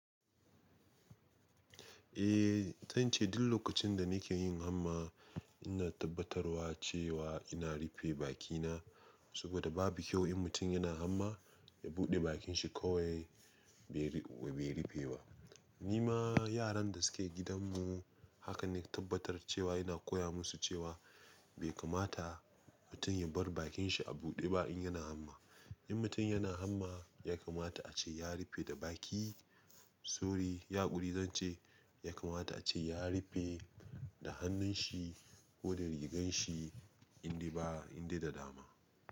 Eh, zan ce duk lokacin da nake yin hamma ina tabbatarwa cewa ina rufe bakina saboda babu kyau in mutum yana hamma ya buɗe bakin shi kawai bai rufe ba. Ni ma yaran da suke gidanmu haka ne tabbatar cewa ina koya musu cewa bai kamata mutum ya bar bakin shi a buɗe ba in yana hamma. In mutum yana hamma ya kamata a ce ya rufe da baki. Sorry, ya ƙuri, zan ce ya kamata a ce ya rufe da hannun shi ko da rigan shi in dai ba in dai da dama.